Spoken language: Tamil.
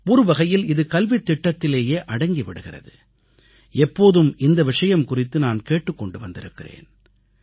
ஒருவகையில் இது கல்வித்திட்டத்திலேயே அடங்கிவிடுகிறது எப்போதும் இந்த விஷயம் குறித்து நான் கேட்டுக்கொண்டு வந்திருக்கிறேன்